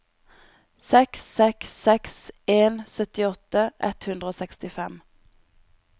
seks seks seks en syttiåtte ett hundre og sekstifem